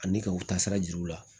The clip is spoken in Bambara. Ani ka u taa sira jira u la